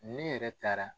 Ne yɛrɛ taara